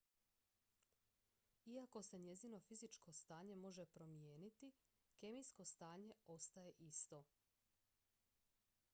iako se njezino fizičko stanje može promijeniti kemijsko stanje ostaje isto